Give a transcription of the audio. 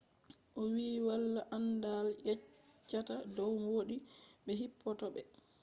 owiiyo walaa anndaal yeccheta dow woodi be hippota be